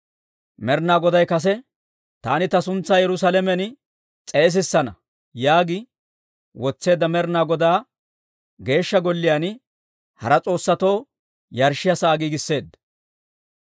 Med'ina Goday kase, «Taani ta suntsaa Yerusaalamen s'eesissana» yaagi wotseedda Med'ina Godaa Geeshsha Golliyaan hara s'oossatoo yarshshiyaa sa'aa giigisseedda.